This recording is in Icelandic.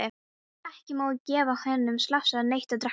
Ekki má gefa hinum slasaða neitt að drekka.